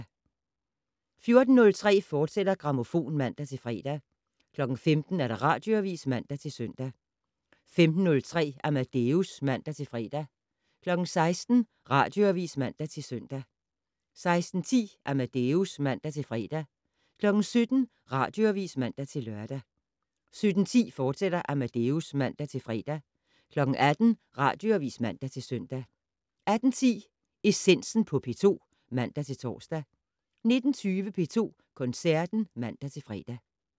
14:03: Grammofon, fortsat (man-fre) 15:00: Radioavis (man-søn) 15:03: Amadeus (man-fre) 16:00: Radioavis (man-søn) 16:10: Amadeus (man-fre) 17:00: Radioavis (man-lør) 17:10: Amadeus, fortsat (man-fre) 18:00: Radioavis (man-søn) 18:10: Essensen på P2 (man-tor) 19:20: P2 Koncerten (man-fre)